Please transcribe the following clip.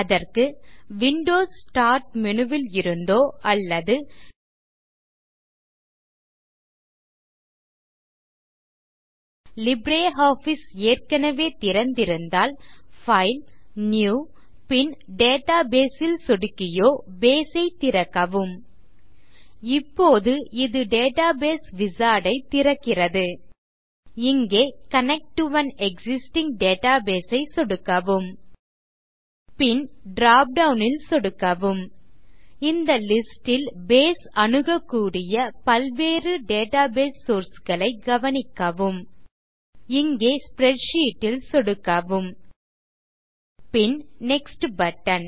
அதற்கு windows start menu ல் இருந்தோ அல்லது லிப்ரியாஃபிஸ் ஏற்கனவே திறந்திருந்தால் பைல் நியூ பின் டேட்டாபேஸ் ல் சொடுக்கியோ பேஸ் ஐ திறக்கவும் இப்போது இது டேட்டாபேஸ் விசார்ட் ஐ திறக்கிறது இங்கே connect to an existing database ஐ சொடுக்கவும் பின் ட்ராப்டவுன் ல் சொடுக்கவும் இந்த லிஸ்ட் ல் பேஸ் அணுகக்கூடிய பல்வகை டேட்டாபேஸ் சோர்ஸ் களை கவனிக்கவும் இங்கே ஸ்ப்ரெட்ஷீட் ல் சொடுக்குவோம் பின் நெக்ஸ்ட் பட்டன்